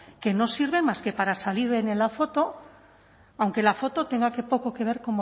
que no sirven más que para salir en la foto aunque la foto tenga poco que ver